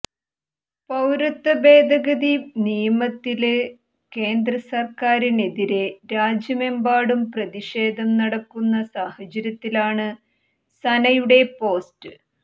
പൌരത്വ ഭേദഗതി നിയമത്തില് കേന്ദ്രസര്ക്കാറിനെതിരെ രാജ്യമെമ്പാടും പ്രതിഷേധം നടക്കുന്ന സാഹചര്യത്തിലാണ് സനയുടെ പോസ്റ്റ്